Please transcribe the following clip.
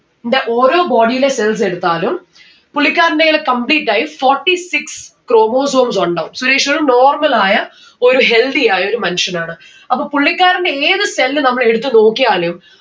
ന്റെ ഓരോ body യുടെ cells എടുത്താലും പുള്ളിക്കാരന്റേൽ complete ആയി forty six chromosomes ഉണ്ടാവും. സുരേഷ് ഒരു normal ആയ ഒരു healthy ആയ ഒരു മനുഷ്യനാണ് അപ്പൊ പുള്ളിക്കാരന്റെ ഏത് cell നമ്മള് എടുത്ത് നോക്കിയാലും